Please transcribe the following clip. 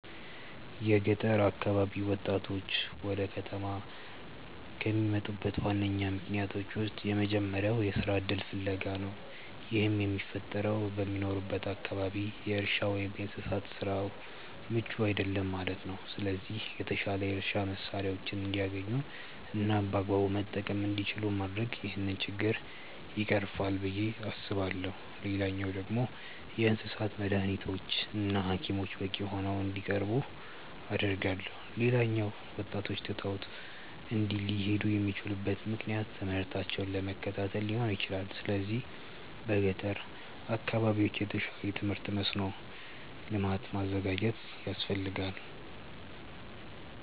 የገጠር አካባቢ ወጣቶች ወደ ከተማ ከሚመጡበት ዋነኛ ምክንያቶች ውስጥ የመጀመሪያው የስራ እድል ፍለጋ ነው። ይህም የሚፈጠረው በሚኖሩበት አካባቢ የእርሻ ወይም የእንስሳት ስራው ምቹ አይደለም ማለት ነው። ስለዚህ የተሻሉ የእርሻ መሳሪያዎችን እንዲያገኙ እናም በአግባቡ መጠቀም እንዲችሉ ማድረግ ይህንን ችግር ይቀርፋል ብዬ አስባለሁ። ሌላኛው ደግሞ የእንስሳት መዳኒቶች እና ሀኪሞች በቂ ሆነው እንዲቀርቡ አደርጋለሁ። ሌላኛው ወጣቶች ትተው ሊሄዱ የሚችሉበት ምክንያት ትምህርታቸውን ለመከታተል ሊሆን ይችላል። ስለዚህ በገጠር አካባቢዎች የተሻለ የትምህርት መስኖ ልማት ማዘጋጀት ያስፈልጋል።